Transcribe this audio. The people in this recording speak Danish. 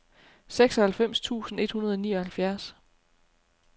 seksoghalvfems tusind et hundrede og nioghalvfjerds